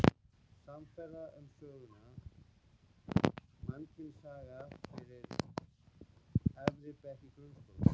Samferða um söguna: Mannkynssaga fyrir efri bekki grunnskóla.